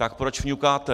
Tak proč fňukáte?